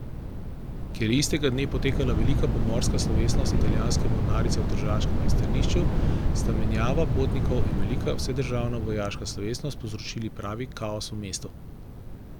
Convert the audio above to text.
Ker je istega dne potekala velika pomorska slovesnost italijanske mornarice v tržaškem pristanišču, sta menjava potnikov in velika vsedržavna vojaška slovesnost povzročili pravi kaos v mestu.